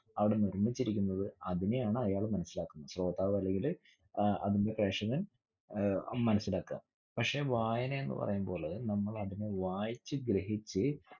അവിടെ നിർമിച്ചിരിക്കുന്നത് അതിനെയാണ് അയാള് മനസ്സിലാക്കുന്നത്. ശ്രോതാവ് അല്ലെങ്കില് ഏർ fashion ന് ഏർ മനസ്സിലാകാ. പക്ഷെ വായന എന്ന് പറയുംപോലെ നമ്മള് അതിനെ വായിച്ചു ഗ്രഹിച്ച്